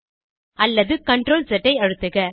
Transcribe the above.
அல்லது CTRLZ ஐ அழுத்துக